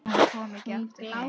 Hún kom ekki aftur heim.